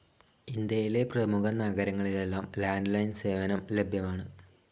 ഇന്ത്യയിലെ പ്രമുഖ നഗരങ്ങളിലെല്ലാം ലാൻഡ്‌ ലൈൻ സേവനം ലഭ്യമാണ്.